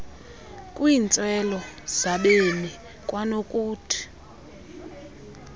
kwiintswelo zabemi kwanokuthu